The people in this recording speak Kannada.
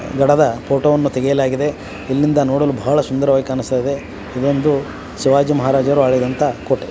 ಗಡದ ಫೋಟೋ ಅನ್ನು ತೆಗೆಯಲಾಗಿದೆ. ಇಲ್ಲಿಂದ ನೋಡಲು ಬಹಳ ಸುಂದರವಾಗಿ ಕಾಣಸ್ತಾ ಇದೆ. ಇದೊಂದು ಶಿವಾಜಿ ಮಹಾರಾಜರು ಆಳಿದಂತಾ ಕೋಟೆ.